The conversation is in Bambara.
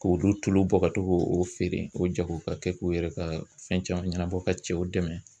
K'olu tulu bɔ ka to k'o feere k'o jago ka kɛ k'u yɛrɛ ka fɛn caman ɲɛnabɔ ka cɛw dɛmɛn.